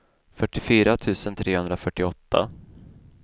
fyrtiofyra tusen trehundrafyrtioåtta